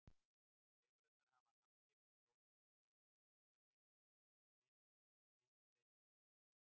Lirfurnar hafa hamskipti fjórum sinnum áður en þær púpa sig og myndbreyting verður.